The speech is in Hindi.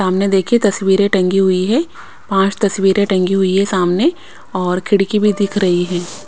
सामने देखे तस्वीरे टंकी हुई है पांच तस्वीरे टंगी हुई है सामने और खिड़की भी दिख रही--